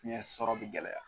Ɲɛ sɔrɔ be gɛlɛya